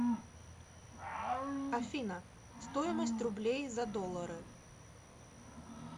афина стоимость рублей за доллары